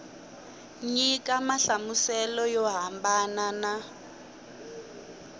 nyika nhlamuselo yo hambana na